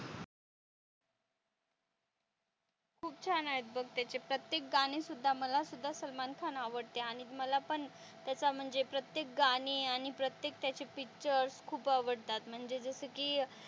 खूप छान आहेत बघ त्याचे प्रत्येक गाणी सुद्धा मला सुद्धा सलमान खान आवडते आणि मला पण त्याचा म्हणजे प्रत्येक गाणी आणि प्रत्येक त्याची पिक्चर्स खूप आवडतात म्हणजे जस कि,